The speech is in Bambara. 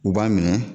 U b'a minɛ